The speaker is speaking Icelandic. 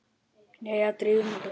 Jæja, drífum okkur!